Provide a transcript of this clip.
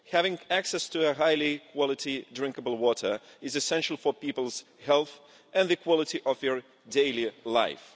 Having access to high quality drinkable water is essential for people's health and the quality of their daily life.